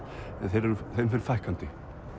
en þeim fer fækkandi